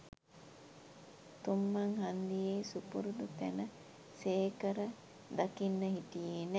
තුංමං හංදියේ සුපරුදු තැන සේකර දකින්න හිටියේ නෑ